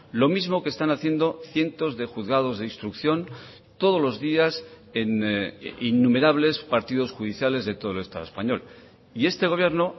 lo mismo que están haciendo cientos de juzgados de instrucción todos los días en innumerables partidos judiciales de todo el estado español y este gobierno